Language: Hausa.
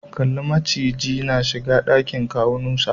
Kalli macijin na shiga dakin kawu Nusa.